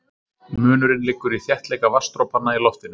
Munurinn liggur í þéttleika vatnsdropanna í loftinu.